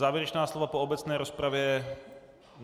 Závěrečná slova po obecné rozpravě?